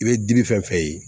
I bɛ dimi fɛn fɛn ye